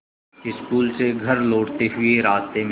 school से घर लौटते हुए रास्ते में